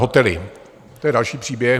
Hotely, to je další příběh.